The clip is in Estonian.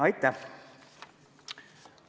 Aitäh!